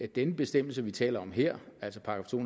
den bestemmelse vi taler om her altså § to